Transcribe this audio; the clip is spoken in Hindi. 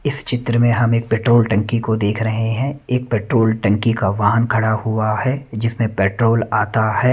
इस चित्र में हम एक पेट्रोल टंकी को देख रहे है एक पेट्रोल टंकी का वाहन खड़ा हुआ है जिसमें पेट्रोल आता है।